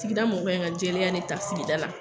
Sigida mɔgɔw ye nka jɛlenya nin ta sigida la.